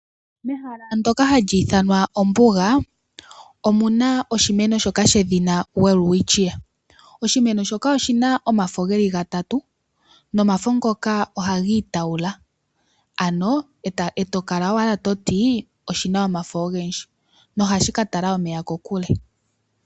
Mehala ndjoka hali ithanwa ombuga omu na oshimeno shoka shedhina Welwitchia, oshimeno shoka oshina omafo ge li ga tatu nomafo ngoka oha giitawula ano eto kala owala toti oshina omafo ogendji nohashi ka tala omeya kokule.